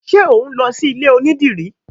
Ṣe o n lọ sí ilé onídìrí?